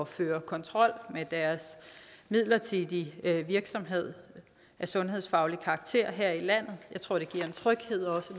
føre kontrol med deres midlertidige virksomhed af sundhedsfaglig karakter her i landet jeg tror det giver en tryghed også